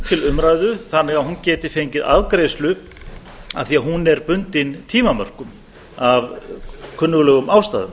til umræðu þannig að hún geti fengið afgreiðslu af því að hún er bundin tímamörkum af kunnuglegum ástæðum